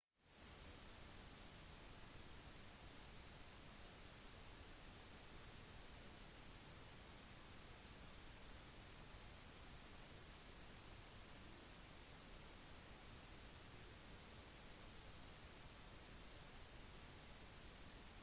det å fly en drone i nærheten av en flyplass eller over en folkemengde er som regel alltid en dårlig idé selv om det ikke skulle være forbudt akkurat der